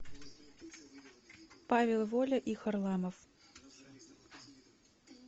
павел воля и харламов